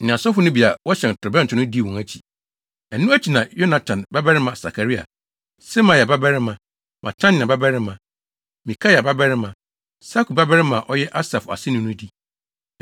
ne asɔfo no bi a wɔhyɛn torobɛnto no dii wɔn akyi. Ɛno akyi na Yonatan babarima Sakaria, Semaia babarima, Matania babarima, Mikaia babarima, Sakur babarima a ɔyɛ Asaf aseni no di.